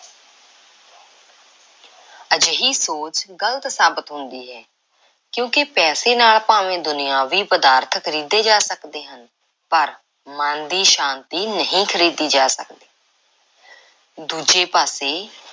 ਅਜਿਹੀ ਸੋਚ ਗ਼ਲਤ ਸਾਬਤ ਹੁੰਦੀ ਹੈ ਕਿਉਂਕਿ ਪੈਸੇ ਨਾਲ ਭਾਵੇਂ ਦੁਨਿਆਵੀ ਪਦਾਰਥ ਖਰੀਦੇ ਜਾ ਸਕਦੇ ਹਨ ਪਰ ਮਨ ਦੀ ਸ਼ਾਂਤੀ ਨਹੀਂ ਖ਼ਰੀਦੀ ਜਾ ਸਕਦੀ। ਦੂਜੇ ਪਾਸੇ